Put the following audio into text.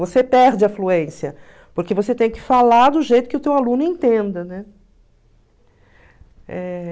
você perde a fluência, porque você tem que falar do jeito que o teu aluno entenda, né? Eh...